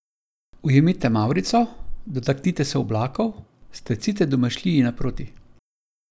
Ujemite mavrico, dotaknite se oblakov, stecite domišljiji naproti!